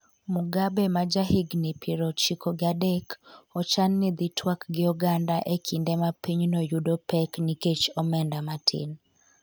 Mugabe ma ja higni piero chiko gi adek ochan ni dhi twak gi oganda e kinde ma pinyno yudo pek nikech omenda matin